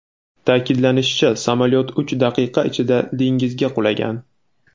Ta’kidlanishicha, samolyot uch daqiqa ichida dengizga qulagan.